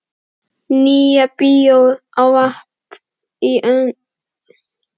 Nýja bíói á vappi í kringum Tjörnina hönd í hönd.